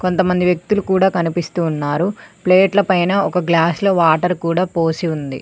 కొం మంది వ్యక్తులు కూడా కనిపిస్తు ఉన్నారు ప్లేట్ల పైన ఒక గ్లాస్ లో వాటర్ కూడా పోసి ఉంది.